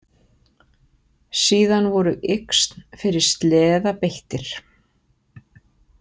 Síðan voru yxn fyrir sleða beittir.